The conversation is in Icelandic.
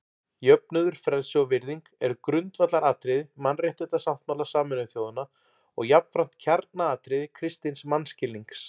Jöfnuður, frelsi og virðing eru grundvallaratriði Mannréttindasáttmála Sameinuðu þjóðanna og jafnframt kjarnaatriði kristins mannskilnings.